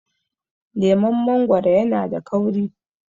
leman mangoro yana da kauri